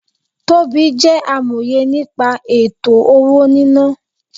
Tobí jẹ́ amòye nípa ètò-owó-níná